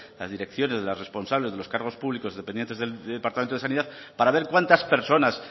las direcciones de las responsables de los cargos públicos dependientes del departamento de sanidad para ver cuántas personas